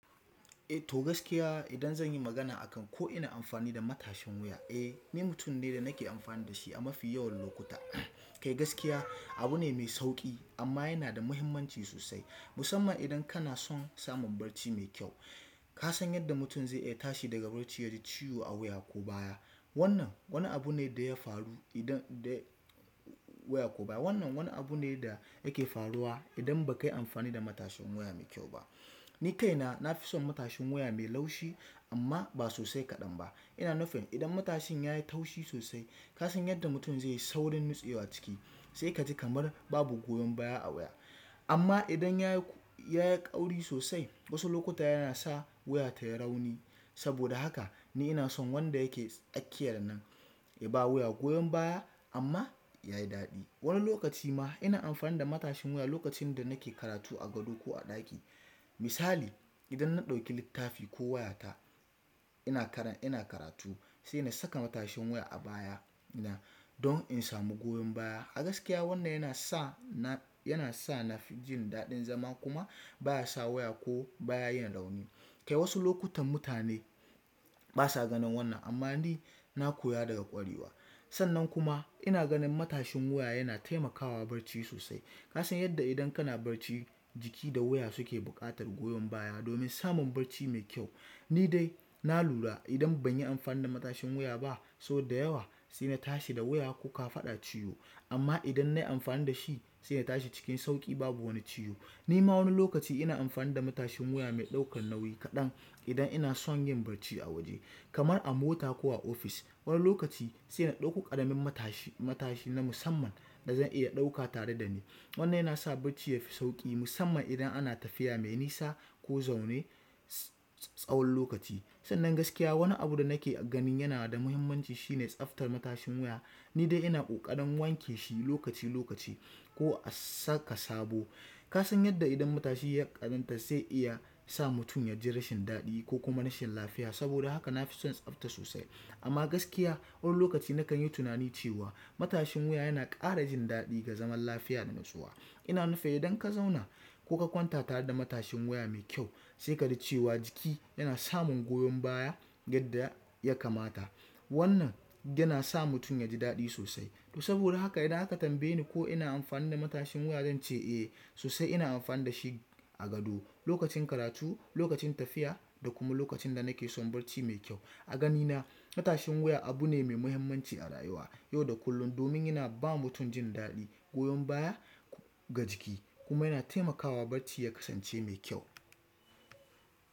Eh to gaskiya idan zan yi magana a kan ko ina amfani da matashin wuya, eh ni mutum ne da nake amfani da shi a mafi yawan lokuta. Kai gaskiya abu ne mai sauƙi amma yana da muhimmanci sosai musamman idan kana son samun bacci mai kyau. Ka san yadda mutum zai iya tashi daga barci yaji ciwo a wuya ko baya. Wannan abu ne da yafaru da yake faruwa idan bakayi amfani da matashin wuya mai kyau ba. Ni kaina na fi son matashin wuya mai laushi amma ba sosai kaɗan ba. Ina nufi idan matashin ya yi taushi sosai ka san yadda mutum zai yi saurin nutsewa ciki sai ka ji kamar babu goyon baya a wuya. Amma idan ya yi ya yi ƙauri sosai wasu lokuta yana sa wuya tayi rauni. Saboda haka ni ina son wanda yake tsaƙiyar nan ya ba wuya goyon baya amma ya yi daɗi. Wani lokaci ma ina amfani da matashin wuya lokacin da nake karatu a gado ko a ɗaki. Misali idan na ɗauki littafi ko wayata ina karan ina karatu sai na saka matashin wuya a baya na don in samu goyon baya. A gaskiya wannan yana sa na yana sa na fi jin daɗin zama kuma baya sa wuya ko baya yin rauni. Kai wasu lokutan mutane basa ganin wannan amma ni na koya daga ƙwarewa. Sannan kuma ina ganin matashin wuya yana taimakawa barci sosai. Ka san yadda idan kana barci jiki da wuya suke buƙatar goyon baya domin samun barci mai kyau. Ni dai na lura idan ban yi amfani da matashin wuya ba sau da yawa sai na tashi da wuya ko ka faɗa ciwo amma idan nayi amfani da shi sai ya tashi cikin sauƙi babu wani ciwo. Ni ma wani lokaci ina amfani da matashin wuya mai ɗaukan nauyi kaɗan idan ina son yin barci a waje kamar a mota ko a ofis. Wani lokaci sai adauko ƙaramin matashi matashi na musamman wanda za'aiya ɗauka tare dani wannan yanasa bacci yafi sauƙi musamman idan ana tafiya mai nisa ko zaune na tsawon lokaci. Sannan gaskiya wani abu da nake ganin yana da muhimmanci shine tsaftar matashin wuya. Ni dai ina ƙoƙarin wanke shi lokaci lokaci ko a saka sabo. Ka san yadda idan matashi ya ƙazanta zai iya sa mutum yaji rashin daɗi ko kuma rashin lafiya saboda haka na fi son tsafta sosai. Amma gaskiya wani lokaci na kan yi tunani cewa matashin wuya yana ƙara jin daɗi ga zaman lafiya da nutsuwa. Ina nufi idan ka zauna ko ka kwantata da matashin wuya mai kyau sai ka ji cewa jiki yana samun goyon baya yadda ya kamata. Wannan yana sa mutum yaji daɗi sosai. To saboda haka idan aka tambaye ni ko ina amfani da matashin wuya zan ce eh sosai ina amfani da shi a gado, lokacin karatu, lokacin tafiya da kuma lokacin da nake son barci mai kyau. A ganina matashin wuya abu ne mai muhimmanci a rayuwa yau da kullum domin yana ba mutum jin daɗi, goyon baya ga jiki kuma yana taimakawa barci ya kasance mai kyau.